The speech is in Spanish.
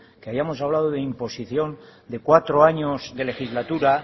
que hayamos hablado de imposición de cuatro años de legislatura